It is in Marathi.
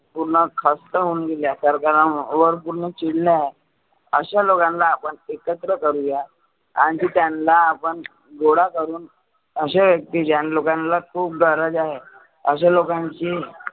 पुर्ण खस्त होऊन सरकार वर पुर्ण चिडले आहे. अशा लोकांना आपण एकत्र करुया. आणि त्यांना आपण गोडा करुण अशे व्यक्ती ज्यांला खुप गरज आहे. अशा लोकांची